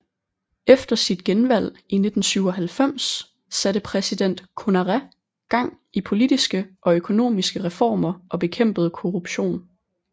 Efter sit genvalg i 1997 satte præsident Konaré gang i politiske og økonomiske reformer og bekæmpede korruption